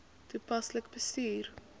toepaslik bestuur